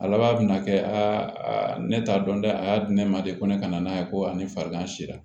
A laban bɛna kɛ aa ne t'a dɔn dɛ a y'a di ne ma de ko ne kana n'a ye ko ani farigan sera